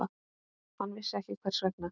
Hann vissi ekki hvers vegna.